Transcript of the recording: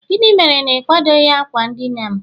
gịnị mere na ị kwadoghị akwa ndina'm?